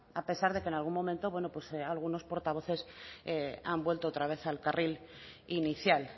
a pesar de que en algún momento bueno algunos portavoces han vuelto otra vez al carril inicial